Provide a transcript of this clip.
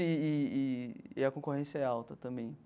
E e e e a concorrência é alta também.